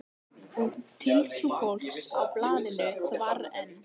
Og tiltrú fólks á blaðinu þvarr enn.